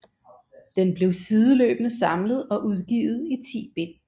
Den blev sideløbende samlet og udgivet i 10 bind